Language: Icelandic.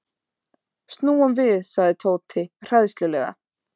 Snúum við sagði Tóti hræðslulega.